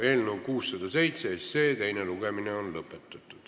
Eelnõu 607 teine lugemine on lõpetatud.